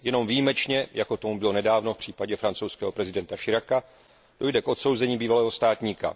Jenom výjimečně, jako tomu bylo nedávno v případě francouzského prezidenta Chiraca, dojde k odsouzení bývalého státníka.